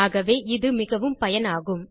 ஆகவே இது மிகவும் பயனாகும்